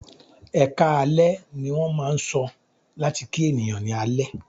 "Ẹkáalẹ́" ní wọ́n máà ń sọ láti kí ènìyàn ní alẹ́.